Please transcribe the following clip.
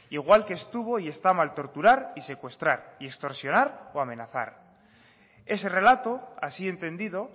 igual que estuvo y está mal torturar y secuestrar y extorsionar o amenazar ese relato así entendido